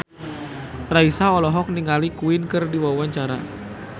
Raisa olohok ningali Queen keur diwawancara